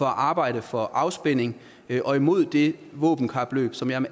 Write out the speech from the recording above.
arbejde for afspænding og imod det våbenkapløb som jeg